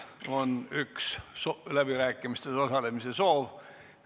On üks läbirääkimistes osalemise soov.